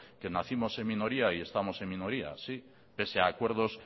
que nacimos en minoría y estamos en minoría sí pese a acuerdos